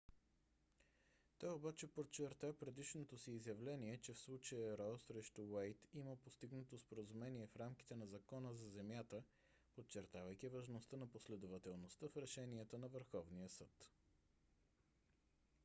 той обаче подчерта предишното си изявление че в случая ро срещу уейд има постигнато споразумение в рамките на закона за земята подчертавайки важността на последователността в решенията на върховния съд